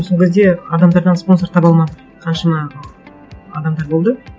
сол кезде адамдардан спонсор таба алмады қаншама адамдар болды